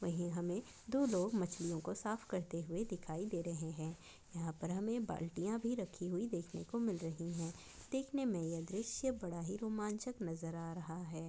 वही हमे दो लोग मछलीओं कों साफ करते हुए दिखाई दे रहे है। यहा पर हमे बाल्टीया भी रखी हुई देखने को मिल रही है। देखने मे दृश बड़ाही रोमांचक नजर आ रहा है।